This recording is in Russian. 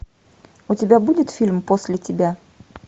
у тебя будет фильм после тебя